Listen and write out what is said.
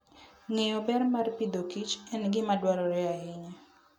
Ng'eyo ber mar pidhoKich en gima dwarore ahinya.